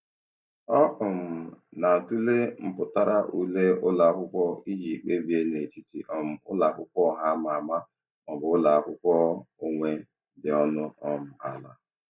Ọ um na-atụle mpụtara ule ụlọakwụkwọ iji kpebie n'etiti um ụlọakwụkwọ ọha ama ama maọbụ ụlọakwụkwọ onwe dị ọnụ um ala.